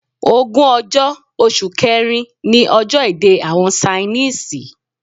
Ogún ọjọ́, oṣù kẹ́rin ní ọjọ́ èdè àwọn Ṣainísìì.